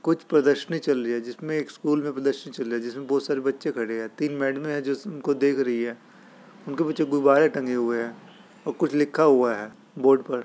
कुछ प्रदर्शनी चल रही हैं जिसमे एक स्कूल में प्रदर्शनी चल रहे है जिसमे बहुत सारे बच्चे खड़े है| तीन मैडमे है जो उनको देख रही है| उनके पीछे गुब्बारे टंगे हुए है और कुछ लिखा हुआ है बोर्ड पर |